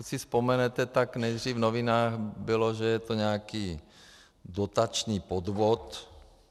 Pokud si vzpomenete, tak nejdřív v novinách bylo, že je to nějaký dotační podvod.